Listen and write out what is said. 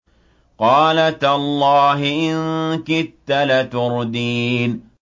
قَالَ تَاللَّهِ إِن كِدتَّ لَتُرْدِينِ